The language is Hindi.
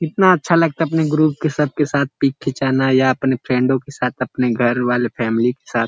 कितना अच्छा लगता अपने ग्रुप के सब के साथ पिक खिंचाना या अपने फ़्रैंडों के साथ अपने घर वाले फ़ैमिली के साथ।